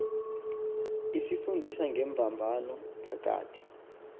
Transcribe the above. isifundisa ngembambano phakathi